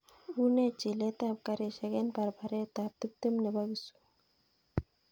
Une chilet ap karishek en paraparet ap tiptem nepo kisumu